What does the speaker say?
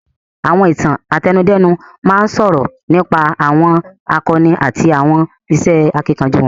Àwọn Ìtàn àtẹnudẹ́nu máa ń sọ̀rọ̀ nípa àwọn àkọni àti àwọn iṣẹ́ akíkanjú wọn